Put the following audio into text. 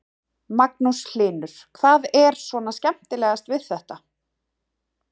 Magnús Hlynur: Hvað er svona skemmtilegast við þetta?